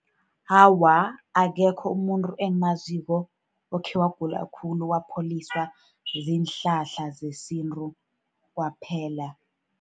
Awa, akekho umuntu engimaziko okhe wagula khulu wapholiswa ziinhlahla zesintu kwaphela.